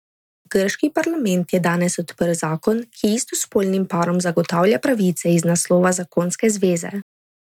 Grški parlament je danes podprl zakon, ki istospolnim parom zagotavlja pravice iz naslova zakonske zveze.